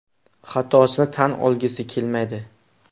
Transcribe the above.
Xatosini tan olgisi kelmaydi.